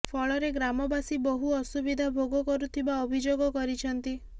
ଫଳରେ ଗ୍ରାମବାସୀ ବହୁ ଅସୁବିଧା ଭୋଗ କରୁଥିବା ଅଭିଯୋଗ କରିଛନ୍ତି